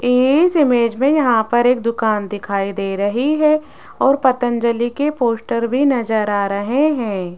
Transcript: इस इमेज में यहां पर एक दुकान दिखाई दे रही है और पतंजलि के पोस्टर भी नजर आ रहे हैं।